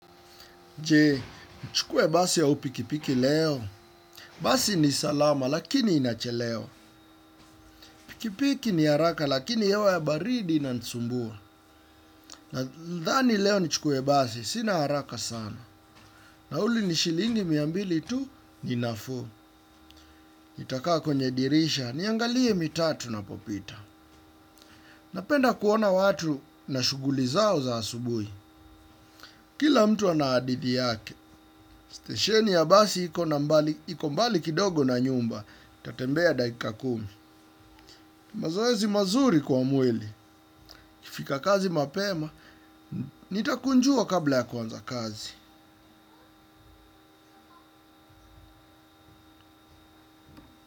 Je, nchukue basi au pikipiki leo. Basi ni salama, lakini inachelewa. Pikipiki ni haraka, lakini hewa ya baridi inansumbua. Na dhani leo nchukue basi, sina haraka sana. Nauli ni shilingi mia mbili tu, ni nafuu. Nitakaa kwenye dirisha, niangalie mitatu na popita. Napenda kuona watu na shughuli zao za asubui. Kila mtu ana hadithi yake, stesheni ya basi iko mbali kidogo na nyumba, tatembea dakika kumi. Mazoezi mazuri kwa mweli, kifika kazi mapema, nitakunjua kabla ya kuanza kazi.